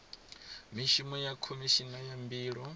mishumo ya khomishini ya mbilo